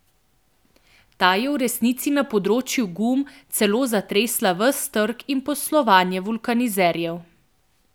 Ta je v resnici na področju gum celo zatresla ves trg in poslovanje vulkanizerjev.